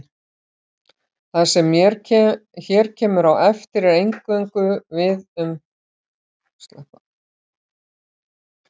það sem hér kemur á eftir á eingöngu við um þá diska